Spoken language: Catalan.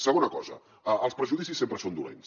segona cosa els prejudicis sempre són dolents